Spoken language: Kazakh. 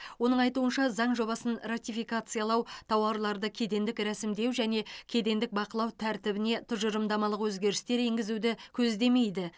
оның айтуынша заң жобасын ратификациялау тауарларды кедендік ресімдеу және кедендік бақылау тәртібіне тұжырымдамалық өзгерістер енгізуді көздемейді